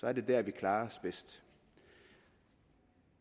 er det dér vi klarer os bedst